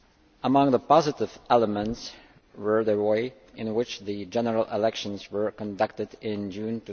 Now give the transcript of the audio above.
Among the positive elements were the way in which the general elections were conducted in June